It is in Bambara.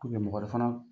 mɔgɔ wɛrɛ fana